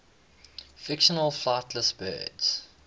fictional flightless birds